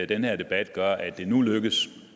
den her debat gør at det nu lykkes